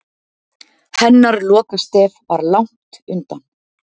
Hennar lokastef var langt undan.